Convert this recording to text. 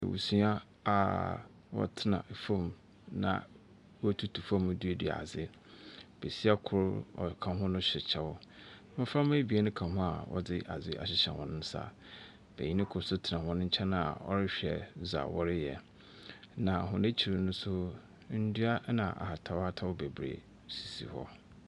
Abusua a wɔtena ɛfom na wo tutu fom a wɔre duadua adzi. Besia kor ɔka ho no hyɛ ɛkyɛw. Mmɔframa ebien ka ho ɔdzi adzi hyehyɛ wɔn nsa. Beyin kor so ɔtena wɔn nkyɛn a ɔrehwɛ dza wɔreyɛ. Na wɔn akyir so ndua ɛna ahataw-hataw sisi hɔ beberee.